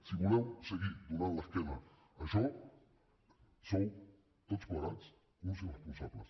si voleu seguir donant l’esquena a això sou tots plegats uns irresponsables